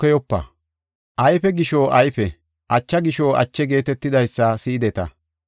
“ ‘Ayfe gisho ayfe; acha gisho ache’ geetetidaysa si7ideta.